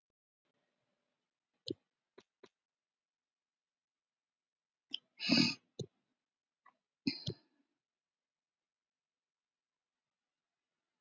Hvaða svæði er vaktað